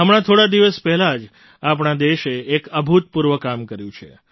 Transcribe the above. હમણાં થોડા દિવસ પહેલાં જ આપણા દેશે એક અભૂતપૂર્વ કામ કર્યું છે